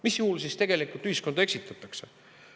Mis juhul siis tegelikult ühiskonda eksitatakse.